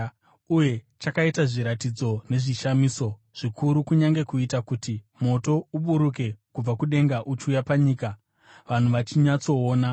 Uye chakaita zviratidzo nezvishamiso zvikuru, kunyange kuita kuti moto uburuke kubva kudenga uchiuya panyika vanhu vachinyatsoona.